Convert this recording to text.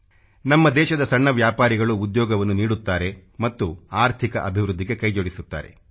ನಮ್ಮ ದೇಶದ ಸಣ್ಣ ವ್ಯಾಪಾರಿಗಳು ಉದ್ಯೋಗವನ್ನು ನೀಡುತ್ತಾರೆ ಮತ್ತು ಆರ್ಥಿಕ ಅಭಿವೃದ್ಧಿಗೆ ಕೈ ಜೋಡಿಸುತ್ತಾರೆ